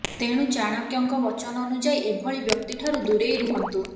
ତେଣୁ ଚାଣକ୍ୟଙ୍କ ବଚନ ଅନୁଯାୟୀ ଏଭଳି ବ୍ୟକ୍ତିଠାରୁ ଦୁରେଇ ରୁହନ୍ତୁ